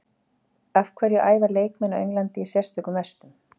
Af hverju æfa leikmenn á Englandi í sérstökum vestum?